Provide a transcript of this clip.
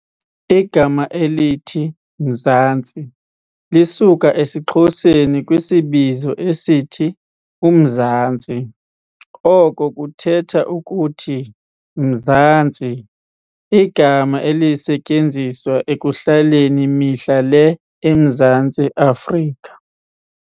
Igama elithi "Mzansi", lisuka esiXhoseni kwisibizo esithi "umzantsi", oko kuthetha ukuthi "mzantsi", igama elisetyenziswa ekuhlaleni mihla le eMzantsi Afrika.